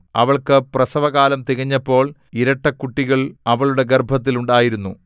അവൾക്കു പ്രസവകാലം തികഞ്ഞപ്പോൾ ഇരട്ടക്കുട്ടികൾ അവളുടെ ഗർഭത്തിൽ ഉണ്ടായിരുന്നു